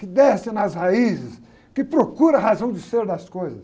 que desce nas raízes, que procura a razão de ser das coisas.